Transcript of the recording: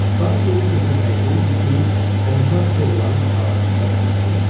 Dan yeri sökülməkdə idi ki, onlar kolları arasında itdirlər.